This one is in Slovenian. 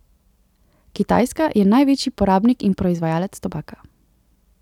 Kitajska je največji porabnik in proizvajalec tobaka.